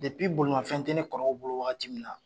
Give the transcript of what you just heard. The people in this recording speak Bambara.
bolimafɛn tɛ ne kɔrɔw bolo waati min na